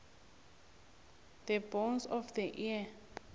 the bones of the ear